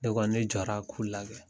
Ne kɔni, ne jɔra k'u lagɛ.